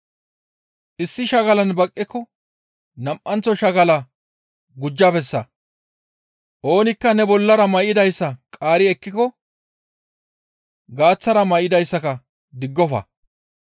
Issi shagalan baqqiko nam7anththo shagalaa gujja bessa; oonikka ne bollara may7idayssa qaari ekkiko gaaththara may7idayssaka diggofa.